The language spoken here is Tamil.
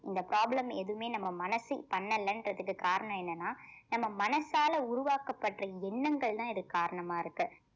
இந்த problem எதுவுமே நம்ம மனசு பண்ணலன்றதுக்கு காரணம் என்னன்னா நம்ம மனசால உருவாக்கப்படுற எண்ணங்கள் தான் இதுக்கு காரணமா இருக்கு